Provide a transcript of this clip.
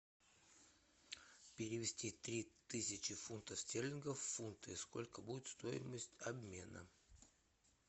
перевести три тысячи фунтов стерлингов в фунты сколько будет стоимость обмена